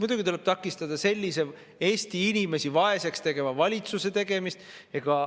Muidugi tuleb takistada sellise Eesti inimesi vaeseks tegeva valitsuse tegevust.